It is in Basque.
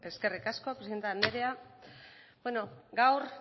eskerrik asko presidente anderea gaur